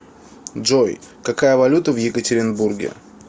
джой какая валюта в екатеринбурге